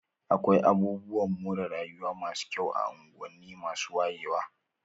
Akwai abubuwan more rayuwa masu kyau a unguwanni masu wayewa.